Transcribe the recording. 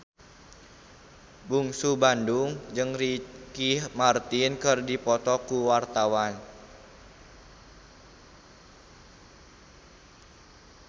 Bungsu Bandung jeung Ricky Martin keur dipoto ku wartawan